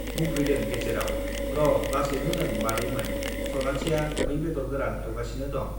बुंफैदों गेजेराव, र' लासैनो लों मादैमोन, सनाथिया मै बेदर गोरान एउगासिनो दं।